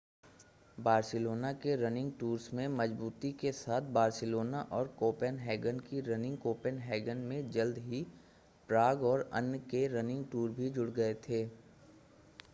Barcelona के running tours में मजूबूती के साथ बार्सिलोना और कोपेनहेगन की रनिंग कोपेनहेगन में जल्द ही प्राग और अन्य के रनिंग टूर भी जुड़ गए थे